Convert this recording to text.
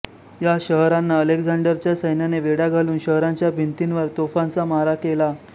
या शहरांना अलेक्झांडरच्या सैन्याने वेढा घालून शहराच्या भिंतींवर तोफांचा मारा केला